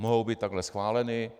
Mohou být takhle schváleny.